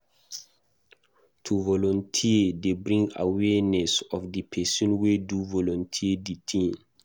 To volunteer de bring awearness of the person wey do volunteer di thing